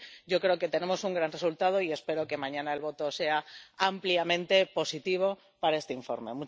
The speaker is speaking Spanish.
Así que yo creo que tenemos un gran resultado y espero que mañana el voto sea ampliamente positivo para este informe.